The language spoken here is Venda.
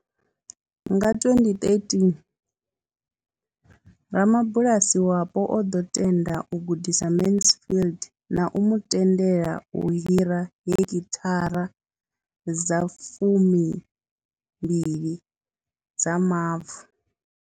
Nga 2013, ramabulasi wapo o ḓo tenda u gudisa Mansfield na u mu tendela u hira heki thara dza fumi mbili dza mavu.